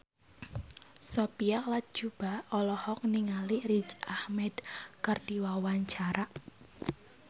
Sophia Latjuba olohok ningali Riz Ahmed keur diwawancara